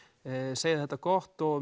segja þetta gott og